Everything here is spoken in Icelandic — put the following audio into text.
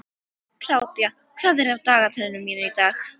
Kládía, hvað er á dagatalinu mínu í dag?